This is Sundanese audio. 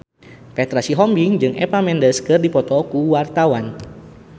Petra Sihombing jeung Eva Mendes keur dipoto ku wartawan